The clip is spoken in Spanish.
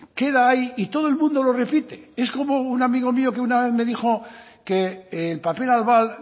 queda ahí y todo el mundo lo repite es como un amigo mío que una vez me dijo que el papel albal